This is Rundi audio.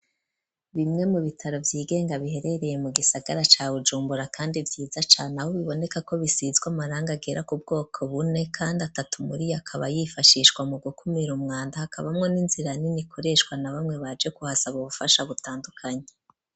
Bimwe mu bitaro vy'igenga biherereye mu gisagara ca Bujumbura, kandi vyiza cane, aho biboneka ko bisizwe amarangi agera ku bwoko bune, kandi atatu muri akaba yifashishwa mu gukumira umwanda, hakabamwo n'inzira nini ikoreshwa na bamwe baje kuhasaba ubufasha butandukanye.